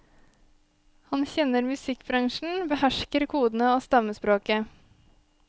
Han kjenner musikkbransjen, behersker kodene og stammespråket.